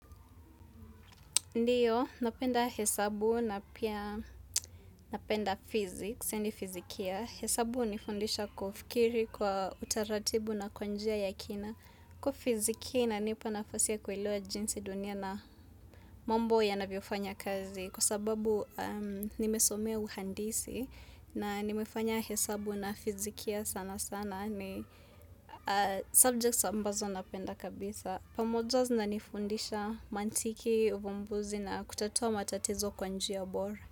Ndiyo, napenda hesabu na pia napenda fizikia, sipendi fizikia. Hesabu hunifundisha kufikiri kwa utaratibu na kwa njia ya kina. Hukuafizikia inanipa nafasi ya kuelewa jinsi dunia na mambo ya navyofanya kazi. Kwa sababu nimesomea uhandisi na nimefanya hesabu na fizikia sana sana ni subjects ambazo napenda kabisa. Pamoja zina nifundisha mantiki, uvumbuzi na kutatua matatizo kwa njia bora.